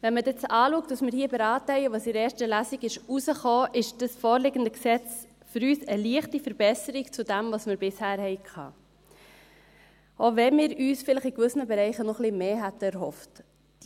Wenn man sich anschaut, was wir hier beraten haben und was in der ersten Lesung herauskam, ist das vorliegende Gesetz für uns eine leichte Verbesserung gegenüber dem, was wir bisher hatten, auch wenn wir uns in gewissen Bereichen vielleicht noch etwas mehr erhofft hätten.